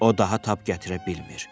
O daha tab gətirə bilmir.